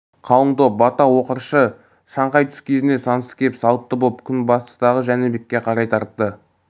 қалың топ бата оқыршы шаңқай түс кезінде сансыз кеп салтты боп күн батыстағы жәнібекке қарай тартты